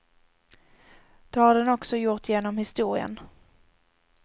Det har den också gjort genom historien.